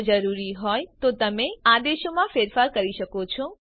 જો જરૂરી હોય તો તમે આદેશમાં ફેરફાર કરી શકો છો